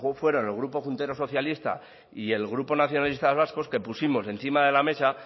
fueron el grupo juntero socialista y el grupo nacionalistas vascos que pusimos encima de la mesa